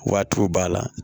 Waatiw b'a la